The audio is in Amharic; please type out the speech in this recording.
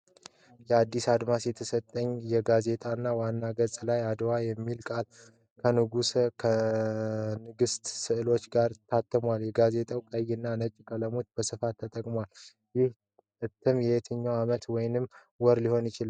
"አዲስ አድማስ" የተሰኘ ጋዜጣ ዋና ገጽ ላይ አድዋ የሚለው ቃል ከንጉሥና ከንግሥት ሥዕሎች ጋር ታትሟል። ጋዜጣው ቀይ እና ነጭ ቀለሞችን በስፋት ተጠቅሟል። ይህ እትም የትኛው ዓመት ወይንም ወር ሊሆን ይችላል?